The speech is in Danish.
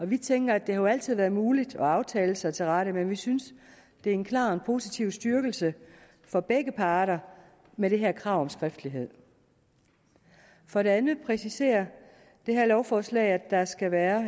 vi tænker at det jo altid har været muligt at aftale sig til rette men vi synes at det er en klar og en positiv styrkelse for begge parter med det her krav om skriftlighed for det andet præciserer det her lovforslag at der skal være